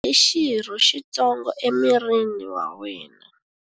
Nyonghwa ya wena i xirho xitsongo emirini wa wena.